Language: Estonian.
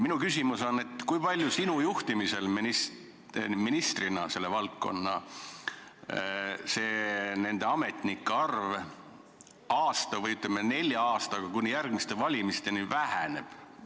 Minu küsimus on: kui palju sinu kui ministri juhtimisel selle valdkonna ametnike arv aasta või, ütleme, nelja aastaga, kuni järgmiste valimisteni väheneb?